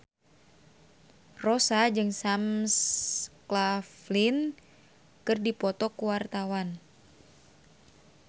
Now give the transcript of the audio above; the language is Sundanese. Rossa jeung Sam Claflin keur dipoto ku wartawan